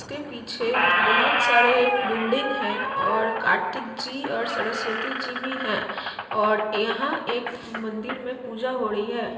इसके पिछे बहोत सारे बिल्डिंग है और कार्तिक जी और सरस्वती जी भी है और यहाँ एक मंदिर में पूजा हो रही है।